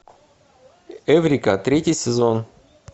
эврика третий сезон